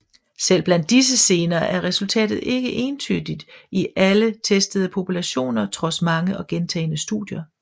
Selv blandt disse gener er resultatet ikke entydigt i alle testede populationer trods mange og gentagne studier